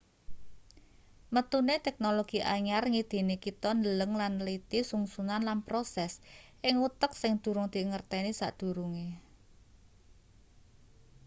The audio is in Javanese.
metune teknologi anyar ngidini kita ndeleng lan nliti sungsunan lan proses ing utek sing durung dingerteni sadurunge